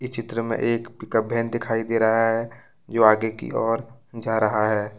चित्र में एक पिकअप बहन दिखाई दे रहा है जो आगे की ओर जा रहा है।